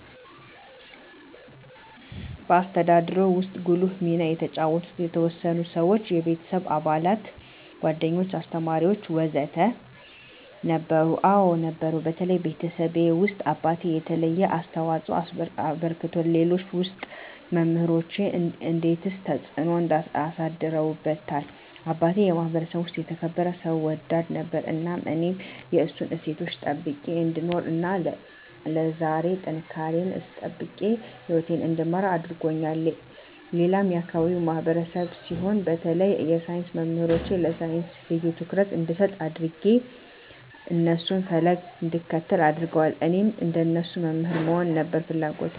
በአስተዳደግዎ ውስጥ ጉልህ ሚና የተጫወቱ የተወሰኑ ሰዎች (የቤተሰብ አባላት፣ ጓደኞች፣ አስተማሪዎች ወዘተ) ነበሩ? አዎ ነበሩ በተለይ ቤተሰቤ ውስጥ አባቴ የተለየ አስተዋፅኦ አበርክቶልኛል ሌሎች ውስጥ መምራኖቼ እንዴትስ ተጽዕኖ አሳድረውብዎታል አባቴ የማህበረሰቡ ውስጥ የተከበረ ሰው ወዳድ ነበር እናም እኔም የእሱን እሴቶች ጠብቄ እንድኖር እና ለዛሬ ጥንካሬየን አስጠብቄ ህይወቴን እንድመራ አድርጎኛል ሌላም የአካባቢው ማህበረሰብ ሲሆን በተለይ የሳይንስ መምህሮቼ ለሳይንስ ልዬ ትኩረት እንድሰጥ አድጌ የእነሱን ፈለግ እንድከተል አድርገዋል እኔም እንደነሱ መምህር ለመሆን ነበር ፍለጎቴ